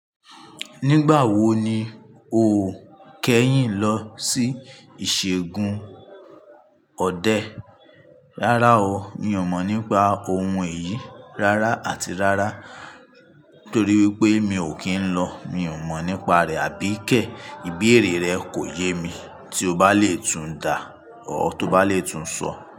Nígbà wo ni o kẹ́yìn lọ sí ìṣègùn ọdẹ? Rárá o, mi ò mọ̀ nípa ohun èyí rárá àti rárá, torí wípé mi ò kì n lọ. Mi ò mọ̀ nípa rẹ̀, àbí kẹ̀? Ìbéèrè rẹ kò yé mi. Tí o bá lè tún dà á or tí o bá lè tún sọ.